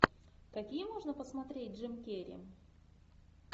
какие можно посмотреть джим керри